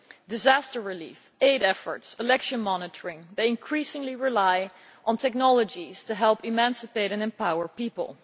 Disaster relief, aid efforts, election monitoring, they increasingly rely on technologies to help emancipate and empower people.